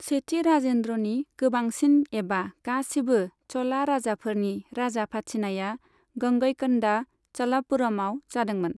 सेथि राजेन्द्रनि गोबांसिन एबा गासिबो चला राजाफोरनि राजा फाथिनाया गंगईकन्डा चलपुरमाव जादोंमोन।